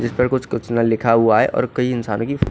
इसपे कुछ कुछ लिखा हुआ है और कही इंसानों की--